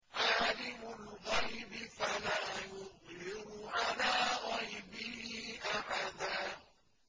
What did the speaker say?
عَالِمُ الْغَيْبِ فَلَا يُظْهِرُ عَلَىٰ غَيْبِهِ أَحَدًا